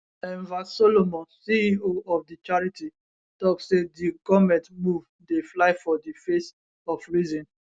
enver solomon ceo of di charity tok say di goment move dey fly for di face of reason